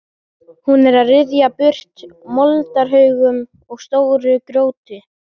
Hún er að ryðja burtu moldarhaugum og stóru grjóti.